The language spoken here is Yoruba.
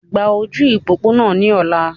Gba ojú ìpópónà ní ọla!